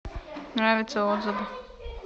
нравится отзывы